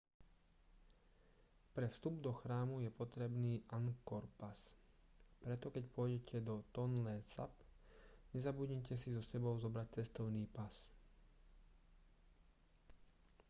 pre vstup do chrámu je potrebný angkor pass preto keď pôjdete do tonle sap nezabudnite si so sebou zobrať cestovný pas